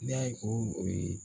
Ne y'a ye ko o ye